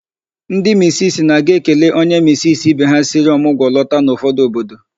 Ndi misisi na-aga ekele onye misisi ibe ha siri ọmụgwọ lọta n'ụfọdụ obodo.